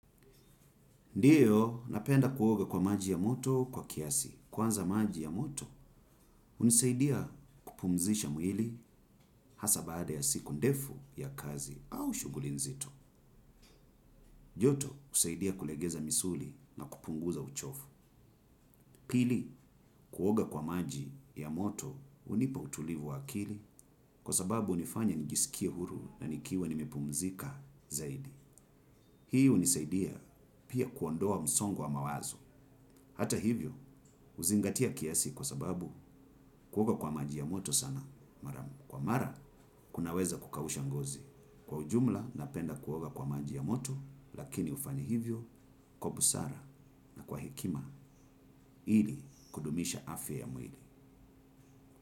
Ndiyo, napenda kuoga kwa maji ya moto kwa kiasi. Kwanza maji ya moto, hunisaidia kupumzisha mwili hasa baada ya siku ndefu ya kazi au shughuli nzito. Joto, husaidia kulegeza misuli na kupunguza uchovu. Pili, kuoga kwa maji ya moto, hunipa utulivu wa akili kwa sababu hunifanya nijisikie huru na nikiwa nimepumzika zaidi. Hii hunisaidia pia kuondoa msongo wa mawazo. Hata hivyo, huzingatia kiasi kwa sababu kuoga kwa maji ya moto sana. Mara, kwa mara, kunaweza kukausha ngozi. Kwa ujumla, napenda kuoga kwa maji ya moto, lakini hufanya hivyo, kwa busara na kwa hekima, ili kudumisha afya ya mwili.